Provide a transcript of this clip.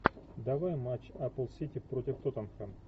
давай матч апл сити против тоттенхэм